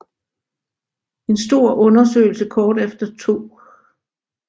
En stor undersøgelse kort efter 2